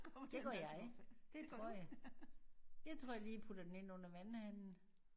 Det gør jeg det tror jeg. Jeg tror jeg lige putter den ind under vandhanen